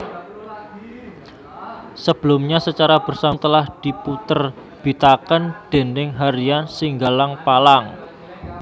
Sebelumnya secara bersambung telah dipunterbitaken déning Harian Singgalang Palang